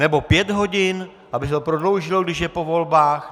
Nebo pět hodin, aby se to prodloužilo, když je po volbách?